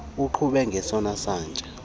uqhube ngesona satya